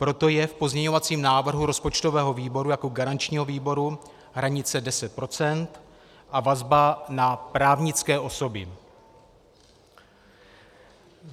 Proto je v pozměňovacím návrhu rozpočtového výboru jako garančního výboru hranice 10 % a vazba na právnické osoby.